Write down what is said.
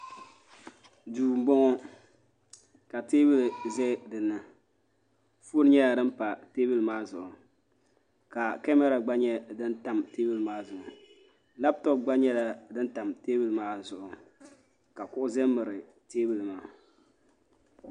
duu n bɔŋɔ ka teebuli ʒɛ dinni foon nyɛla din pa teebuli maa zuɣu ka kamɛra gba nyɛ din tam teebuli maa zuɣu labtop gba nyɛla din tam teebuli maa zuɣu ka kuɣu ʒɛ n miri teebuli maa